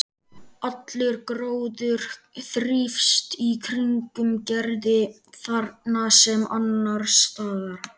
Allur gróður þrífst í kringum Gerði þarna sem annars staðar.